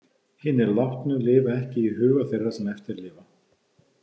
Hinir látnu lifa ekki í huga þeirra sem eftir lifa.